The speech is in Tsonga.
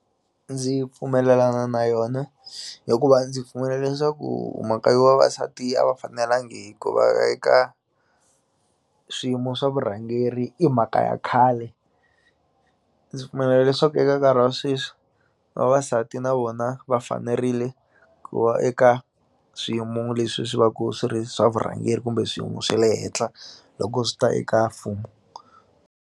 Ndzi pfumelelana na yona hikuva ndzi pfumela leswaku mhaka yo vavasati a va fanelangi hikuva veka swiyimo swa vurhangeri i mhaka ya khale ndzi pfumela leswaku eka nkarhi wa sweswi vavasati na vona va fanerile ku va eka swiyimo leswi swi va ku swi ri swa vurhangeri kumbe swiyimo swe le henhla loko swi ta eka mfumo.